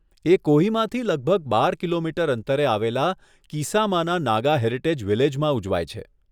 એ કોહિમાથી લગભગ બાર કિલોમીટર અંતરે આવેલા કિસામાના નાગા હેરિટેજ વિલેજમાં ઉજવાય છે.